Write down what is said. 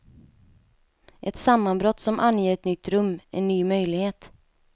Ett sammanbrott som anger ett nytt rum, en ny möjlighet.